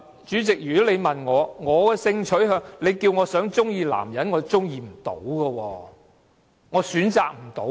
主席，如果你問我的性傾向，你要求我喜歡男性，我做不到。